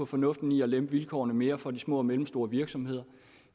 fornuften i at lempe vilkårene mere for de små og mellemstore virksomheder og